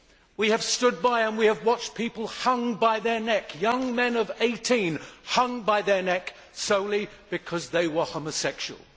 We have stood by and we have watched people hung by their neck, young men of 18 hung by their neck solely because they were homosexual.